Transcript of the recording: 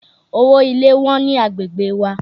Owo ilé Wọ́n ni agbègbè wa.